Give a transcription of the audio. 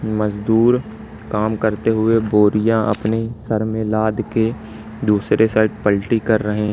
मजदूर काम करते हुए बोरियां अपने सर में लाद के दूसरे साइड पलटी कर रहे--